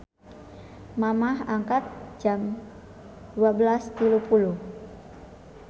Mamah angkat jam 12.30